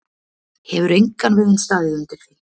Hefur engan veginn staðið undir því.